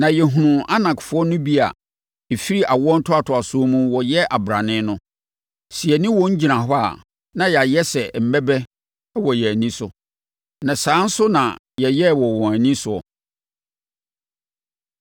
na yɛhunuu Anakfoɔ no bi a ɛfiri awoɔ ntoatoasoɔ mu wɔyɛ abrane no. Sɛ yɛne wɔn gyina hɔ a, na yɛayɛ te sɛ mmɛbɛ wɔ yɛn ani so. Na saa nso na yɛyɛɛ wɔ wɔn ani soɔ.”